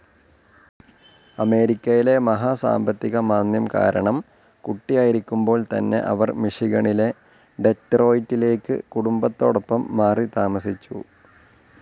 അമേരിക്കയില മഹാസാമ്പത്തികമാന്ദ്യം കാരണം, കുട്ടിയായിരിക്കുമ്പോൾ തന്നെ അവർ മിഷിഗണിലെ ഡെറ്റ്രോയ്റ്റിലേക്ക് കുടുംബത്തോടൊപ്പം മാറിത്താമസിച്ചു.